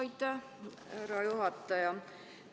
Aitäh, härra juhataja!